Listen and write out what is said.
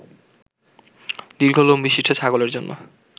দীর্ঘ লোমবিশিষ্ট ছাগলের জন্য